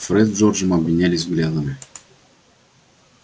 фред с джорджем обменялись взглядами